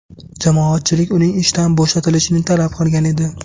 Jamoatchilik uning ishdan bo‘shatilishini talab qilgan edi .